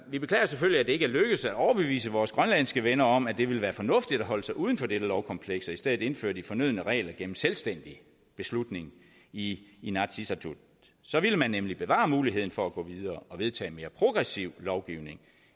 vi beklager selvfølgelig at det ikke er lykkedes at overbevise vores grønlandske venner om at det ville være fornuftigt at holde sig uden for dette lovkompleks og i stedet indføre de fornødne regler gennem selvstændig beslutning i inatsisartut så ville man nemlig bevare muligheden for at gå videre og vedtage en mere progressiv lovgivning